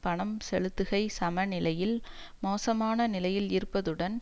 பணம் செலுத்துகை சமநிலையில் மோசமான நிலையில் இருப்பதுடன்